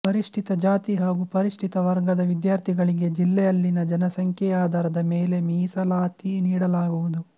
ಪರಿಶಿಷ್ಟ ಜಾತಿ ಹಾಗೂ ಪರಿಶಿಷ್ಟ ವರ್ಗದ ವಿದ್ಯಾರ್ಥಿಗಳಿಗೆ ಜಿಲ್ಲೆಯಲ್ಲಿನ ಜನಸಂಖ್ಯೆ ಆಧಾರದ ಮೇಲೆ ಮೀಸಲಾತಿ ನೀಡಲಾಗುವುದು